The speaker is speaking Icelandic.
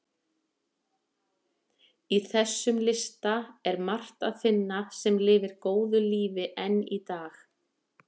Í þessum lista er margt að finna sem lifir góðu lífi enn í dag.